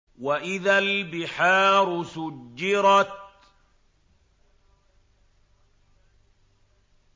وَإِذَا الْبِحَارُ سُجِّرَتْ